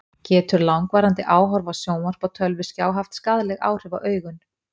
Getur langvarandi áhorf á sjónvarp og tölvuskjá haft skaðleg áhrif á augun?